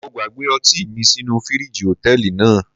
Mo gbàgbé ọtí mi sínú fíríjì Hòtẹ́lìì náà.